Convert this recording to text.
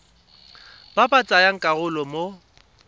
ba ba tsayang karolo mo